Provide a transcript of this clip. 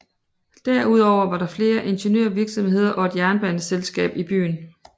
Derudover var der flere ingeniørvirksomheder og et jernbaneselskab i byen